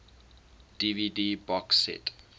dvd box set